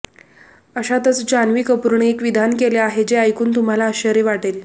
अशातच जान्हवी कपूरने एक विधान केले आहे जे ऐकून तुम्हाला आश्चर्य वाटेल